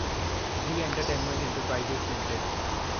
Zee entertainment enterprises limited